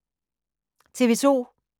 TV 2